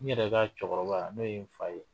N yɛrɛ ka cɛkɔrɔba n'o ye n fa ye